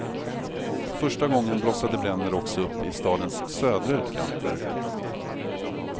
För första gången blossade bränder också upp i stadens södra utkanter.